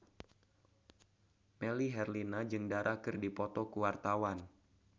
Melly Herlina jeung Dara keur dipoto ku wartawan